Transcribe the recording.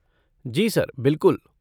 जी sir, बिलकुल।